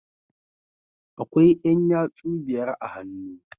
Akwai Yan yatsu biyar a hannu